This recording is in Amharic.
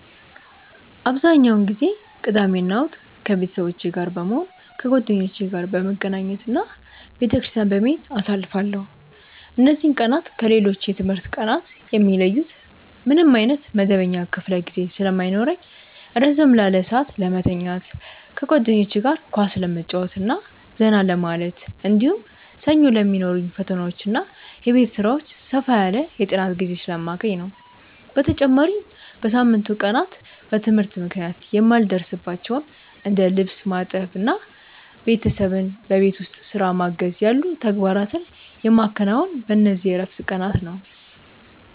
አብዛኛውን ጊዜ ቅዳሜና እሁድን ከቤተሰቦቼ ጋር በመሆን፣ ከጓደኞቼ ጋር በመገናኘት እና ቤተክርስቲያን በመሄድ አሳልፋለሁ። እነዚህ ቀናት ከሌሎች የትምህርት ቀናት የሚለዩት ምንም ዓይነት መደበኛ ክፍለ ጊዜ ስለማይኖርኝ ረዘም ላለ ሰዓት ለመተኛት፣ ከጓደኞቼ ጋር ኳስ ለመጫወትና ዘና ለማለት፣ እንዲሁም ሰኞ ለሚኖሩኝ ፈተናዎችና የቤት ሥራዎች ሰፋ ያለ የጥናት ጊዜ ስለማገኝ ነው። በተጨማሪም በሳምንቱ ቀናት በትምህርት ምክንያት የማልደርስባቸውን እንደ ልብስ ማጠብና ቤተሰብን በቤት ውስጥ ሥራ ማገዝ ያሉ ተግባራትን የማከናውነው በእነዚህ የዕረፍት ቀናት ነው።